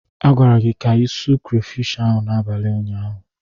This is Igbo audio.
A gwara gị ka ịsụ krafish ahụ n'abalị ụnyaahụ.